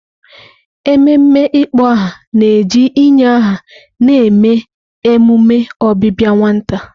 Ememe ịkpọ aha na-eji inye aha na-eme emume ọbịbịa nwata.